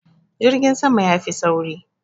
Jirgin sama ya fi sauri.